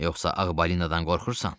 Yoxsa Ağ balinadan qorxursan?